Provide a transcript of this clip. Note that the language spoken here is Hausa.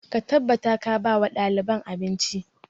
Ka tabbata ka ba wa ɗaliban abinci!